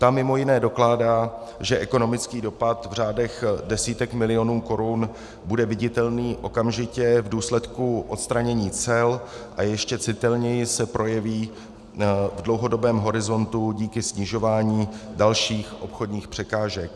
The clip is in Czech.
Ta mimo jiné dokládá, že ekonomický dopad v řádech desítek milionů korun bude viditelný okamžitě v důsledku odstranění cel a ještě citelněji se projeví v dlouhodobém horizontu díky snižování dalších obchodních překážek.